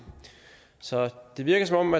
så det virker som